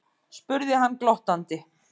spurði hann glottandi.